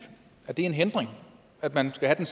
er det en hindring at man skal have